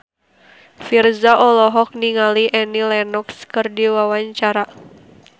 Virzha olohok ningali Annie Lenox keur diwawancara